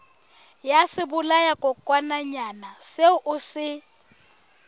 ya sebolayakokwanyana seo o se